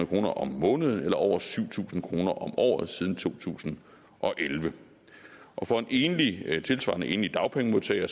kroner om måneden eller over syv tusind kroner om året siden to tusind og elleve og for en tilsvarende enlig dagpengemodtager